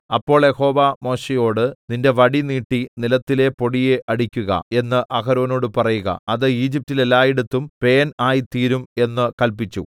അപ്പോൾ യഹോവ മോശെയോട് നിന്റെ വടി നീട്ടി നിലത്തിലെ പൊടിയെ അടിക്കുക എന്ന് അഹരോനോട് പറയുക അത് ഈജിപ്റ്റിൽ എല്ലായിടത്തും പേൻ ആയിത്തീരും എന്ന് കല്പിച്ചു